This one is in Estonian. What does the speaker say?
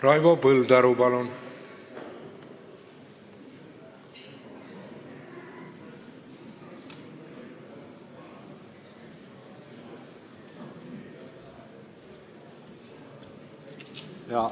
Raivo Põldaru, palun!